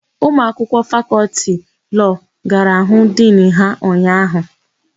Ụmụakwụkwọ Fakọltị Lọọ gara hụ Dinu ha ụnyaahụ.